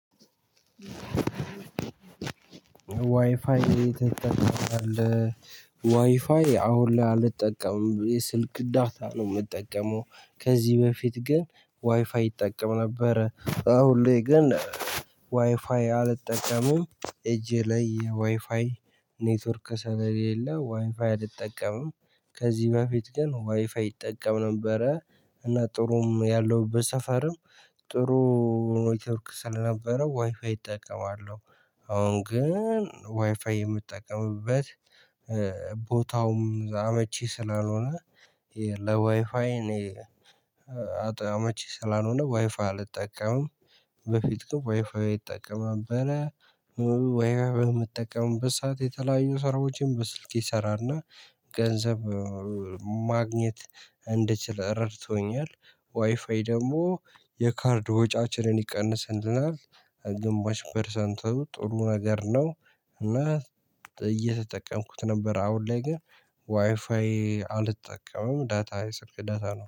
ዋይፋይ ትጠቀማለህ? ዋይፋይ አሁን ላይ አልጠቀምም። ስልክ ዳታ ነው የምጠቀመው። ከዚህ በፊት ግን ዋይፋይ እጠቀም ነበር። አሁን ላይ ግን ዋይፋይ አልጠቀመም። እጄ ላይ የዋይፋይ ኔትወርክ ሰለሌላ ዋይፋይ አልጠቀምም። ከዚህ በፊት ግን ዋይፋይ እጠቀም ነበረ። እና ጥሩም ያለውበት ሰፈርም ጥሩ ኔትወርክ ስለነበረው ዋይፋይ እጠቀማለሁ። አሁን ግን ዋይፋይ የምጠቀምበት ቦታውም አመቺ ስላልሆነ ለዋይፋይ እኔ አመቺ ስላልሆነ ዋይፋይ አልጠቀምም። በፊት ዋይፋይ እጠቀም እጠቀም ነበረ። ዋይፋይ በምጠቀምበት ሰዓት የተለያዩ ሰራዎችን በስልኬ እሰራልና ገንዘብ ማግኘት እንድችል ረድቶኛል። ዋይፋይ ደግሞ የካርድ ወጪያችንን ይቀንስልናል። ግማሽ ፐርሰንትም ጥሩ ነገር ነው። እና እየተጠቀምኩት ነበር። አሁን ላይ ግን ዋይፋይ አልጠቀመም፤ ዳታ የስልክ ዳታ ነው።